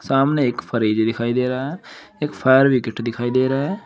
सामने एक फरिज दिखाई दे रहा है एक फायर विकेट दिखाई दे रहा है।